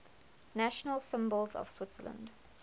national symbols of switzerland